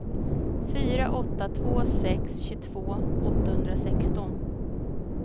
fyra åtta två sex tjugotvå åttahundrasexton